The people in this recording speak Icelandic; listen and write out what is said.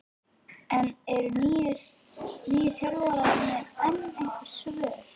En eru nýju þjálfararnir með einhver svör?